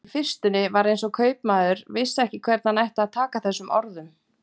Í fyrstunni var eins og kaupmaður vissi ekki hvernig hann ætti að taka þessum orðum.